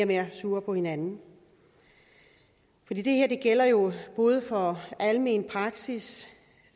mere sure på hinanden for det her gælder jo både for almen praksis